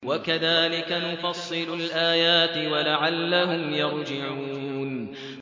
وَكَذَٰلِكَ نُفَصِّلُ الْآيَاتِ وَلَعَلَّهُمْ يَرْجِعُونَ